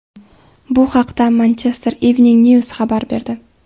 Bu haqda Manchester Evening News xabar berdi .